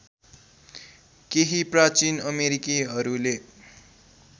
केही प्राचीन अमेरिकीहरूले